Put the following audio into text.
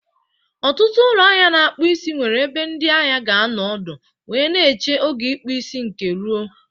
Ọtụtụ ụlọ ahịa na-akpụ isi nwere ebe ndị ahịa ga-anọ ọdụ wee na-eche oge ịkpụ isi nke rụo